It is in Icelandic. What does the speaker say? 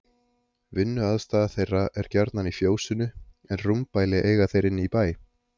Vinnuaðstaða þeirra er gjarnan í fjósinu en rúmbæli eiga þeir inni í bæ.